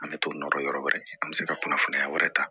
An bɛ t'o nɔ yɔrɔ wɛrɛ an bɛ se ka kunnafoniya wɛrɛ ta